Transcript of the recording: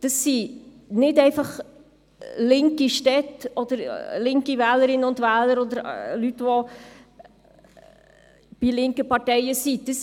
Das sind nicht einfach linke Städte oder linke Wählerinnen und Wähler oder Leute, die linken Parteien angehören.